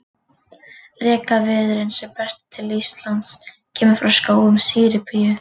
Rekaviðurinn sem berst til Íslands kemur frá skógum Síberíu.